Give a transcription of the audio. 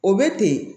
O bɛ ten